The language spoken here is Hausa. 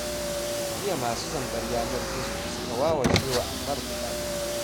Jiya masu zambar yanar gizo suka wawashe wa Ammar kuɗaɗe